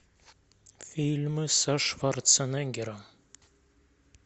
фильмы со шварценеггером